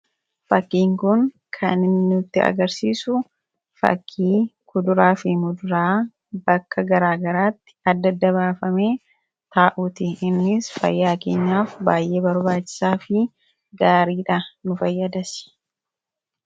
fakkin kun kan nutti agarsiisu fakkii kuduraa fi muduraa bakka garaagaraatti addadda baafame taa'uuti. innis fayyaa keenyaaf baay'ee barbaachisaa fi gaariidha nu fayyadasi.